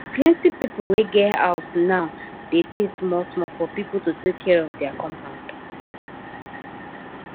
plenty people wey get house now dey pay small small for people to take care of their compound